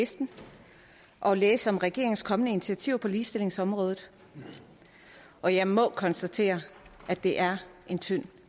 den og læse om regeringens kommende initiativer på ligestillingsområdet og jeg må konstatere at det er en tynd